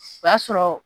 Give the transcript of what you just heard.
O y'a sɔrɔ